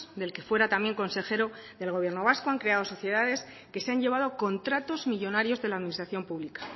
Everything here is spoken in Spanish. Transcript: del que fuera también consejero del gobierno vasco han creado sociedades que se han llevado contratos millónarios de la administración pública